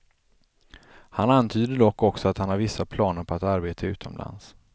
Han antyder dock också att han har vissa planer på att arbeta utomlands.